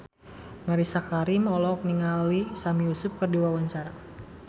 Mellisa Karim olohok ningali Sami Yusuf keur diwawancara